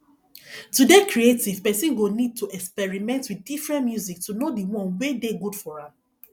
to dey creative person go need to experiment with different music to know di one wey dey good for am